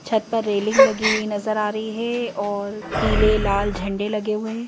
छत पर रेलिंग लगी हुई नजर आ रही है और पीले लाल झंडे लगे हुए हैं।